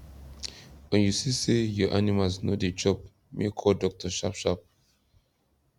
when u see say ur animals no dey chop make u call doctor sharp sharp